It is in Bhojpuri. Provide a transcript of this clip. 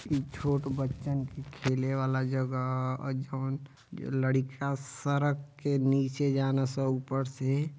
छोट बच्चन के खले वाला जगह जौन लइका सड़क के निचे जालन सन ऊपर से --